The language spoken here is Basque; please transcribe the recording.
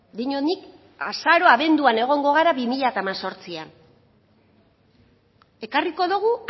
diot nik azaroan abenduan egongo gara bi mila hemezortzian ekarriko dugu